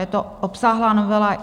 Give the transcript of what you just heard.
Je to obsáhlá novela.